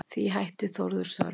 Því hætti Þórður störfum.